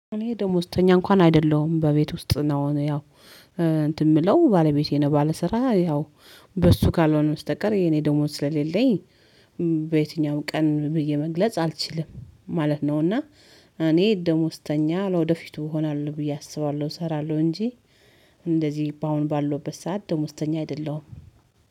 እኔ ደሞዝተኛ እንኳን አይደለሁም በቤት ውስጥ ነው። ያው እንትን የምለው ባለቤቴ ነው። ባለስራ ያው በሱ ካልሆነ በስተቀር የኔ ደሞዝ ስለሌለኝ። በየትኛውም ቀን ብዬ መግለጽ አልችልም ማለት ነው። እና እኔ ደሞዝተኛ ለወደፊቱ እሆናለሁ ብዬ አስባለሁ እሰራለሁ እንጂ። እንደዚህ በአሁን ባለሁበት ሰዓት ደሞዝተኛ አይደለሁም